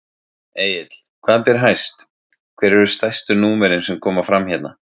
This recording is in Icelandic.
Egill, hvað ber hæst, hver eru stærstu númerin sem koma fram hérna?